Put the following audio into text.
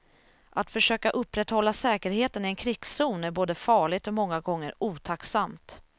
Att försöka upprätthålla säkerheten i en krigszon är både farligt och många gånger otacksamt.